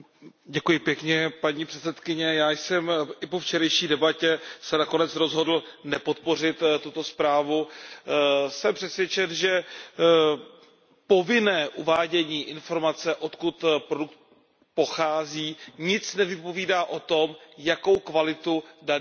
Paní předsedající, já jsem se i po včerejší debatě nakonec rozhodl nepodpořit tuto zprávu. Jsem přesvědčen, že povinné uvádění informace, odkud produkt pochází, nic nevypovídá o tom, jakou kvalitu daný produkt má.